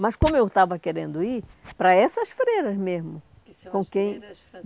Mas como eu estava querendo ir para essas freiras mesmo, com quem?